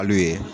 Ali ye